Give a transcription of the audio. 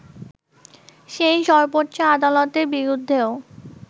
সেই সর্বোচ্চ আদালতের বিরুদ্ধেও